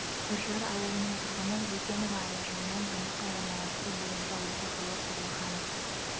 үржар ауылының тұрғыны жукенова аяжаннан жұмысқа орналастыру бойынша оқу жылы тұрлыханов